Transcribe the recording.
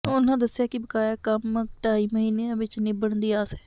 ਉਨ੍ਹਾਂ ਦੱਸਿਆ ਕਿ ਬਕਾਇਆ ਕੰਮ ਢਾਈ ਮਹੀਨਿਆਂ ਵਿੱਚ ਨਿੱਬੜਨ ਦੀ ਆਸ ਹੈ